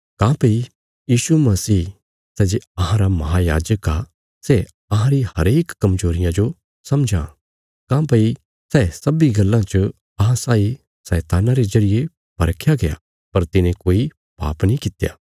काँह्भई यीशु मसीह सै जे अहांरा महायाजक आ सै अहां री हरेक कमजोरिया जो समझां काँह्भई सै सब्बीं गल्लां च अहां साई शैतान्ना रे जरिये परखया गया पर तिने कोई पाप नीं कित्या